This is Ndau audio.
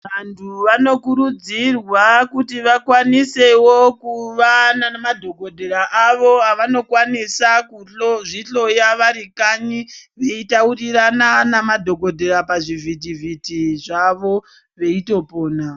Vantu vanokurudzirwa kuti vakwanisewo kuva madhokodheya avo veikwanisa kuzvihloya vari kanyi veitaurirana nemadhokodheya pazvivhitivhiti zvawo veitopona.